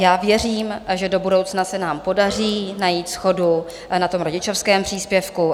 Já věřím, že do budoucna se nám podaří najít shodu na tom rodičovském příspěvku.